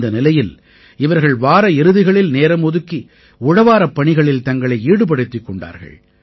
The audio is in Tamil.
இந்த நிலையில் இவர்கள் வார இறுதிகளில் நேரம் ஒதுக்கி உழவாரப் பணிகளில் தங்களை ஈடுபடுத்திக் கொண்டார்கள்